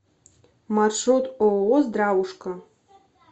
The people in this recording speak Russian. маршрут ооо здравушка